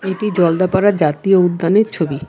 এটি জলদাপাড়া জাতীয় উদ্যানের ছবি।